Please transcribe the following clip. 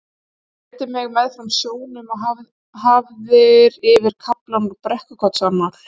Þú leiddir mig meðfram sjónum og hafðir yfir kaflann úr Brekkukotsannál.